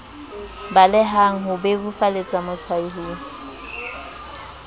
balehang ho bebofaletsa motshwai ho